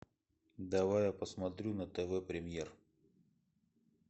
давай я посмотрю на тв премьер